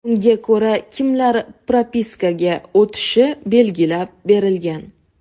Unga ko‘ra kimlar propiskaga o‘tishi belgilab berilgan.